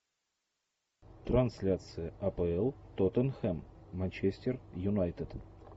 трансляция апл тоттенхэм манчестер юнайтед